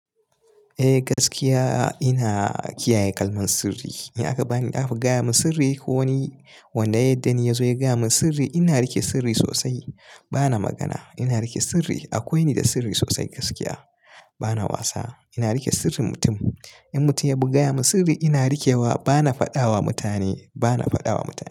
Eh gaskiya ina kiyaye kalmar sirri. In aka bani, aka gaya min sirri ko wani wanda yaddani ya zo ya gaya min sirri, ina riƙe sirri sosai. Bana magana. Ina riƙe sirri. Akwai ni da sirri sosai gaskiya. Bana wasa. Ina riƙe sirrin mutum. In mutum ya bu gaya min sirri ina rikewa bana faɗawa mutane, bana faɗawa mutane.